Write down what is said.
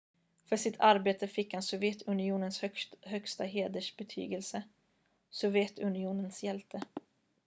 "för sitt arbete fick han sovjetunionens högsta hedersbetygelse "sovjetunionens hjälte"".